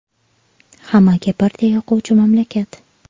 Hammaga birdek yoquvchi mamlakat .